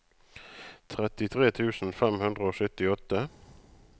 trettitre tusen fem hundre og syttiåtte